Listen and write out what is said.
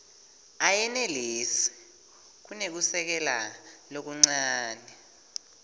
ayenelisi kunekusekela lokuncane